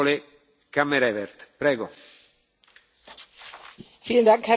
Herr Präsident, liebe Kolleginnen und Kollegen, sehr verehrter Herr Kommissar!